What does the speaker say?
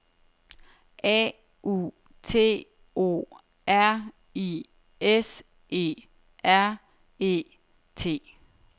A U T O R I S E R E T